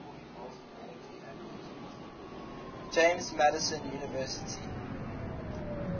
james madison university